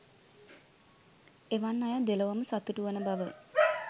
එවන් අය දෙලොවම සතුටුවන බව